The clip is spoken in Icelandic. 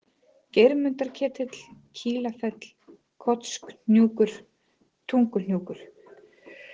Geirmundarketill, Kílafell, Kotshnjúkur, Tunguhnjúkur